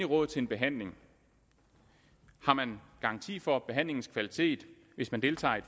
råd til en behandling har man garanti for behandlingens kvalitet hvis man deltager i